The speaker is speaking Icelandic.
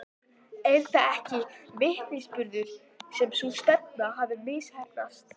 Er það ekki vitnisburður um að sú stefna hafi misheppnast?